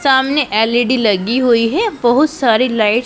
सामने एल_ई_डी लगी हुई है बहुत सारी लाइट --